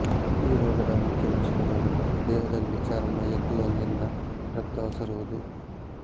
ಈ ರೋಗದ ಮುಖ್ಯ ಲಕ್ಷಣವೇನೆಂದರೆ ದೇಹದಲ್ಲಿ ಚರ್ಮ ಎದ್ದು ಅಲ್ಲಿಂದ ರಕ್ತ ಒಸರುವುದು